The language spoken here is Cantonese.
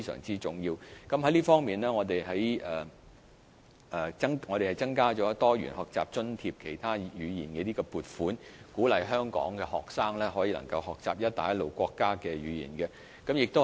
在這方面，政府增加了"多元學習津貼——其他語言"的撥款，鼓勵香港學生學習"一帶一路"國家的語言。